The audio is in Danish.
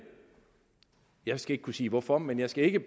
jeg skal ikke kunne sige hvorfor men jeg skal ikke